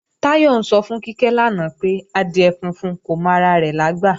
Táyọ̀ ń sọ fún Kíkẹ́ lánàá pé, adìẹ funfun kò mọ ara rẹ̀ lágbà